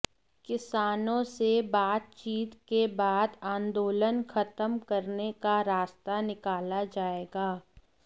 किसानों से बातचीत के बाद आंदोलन खत्म करने का रास्ता निकाला जाएगा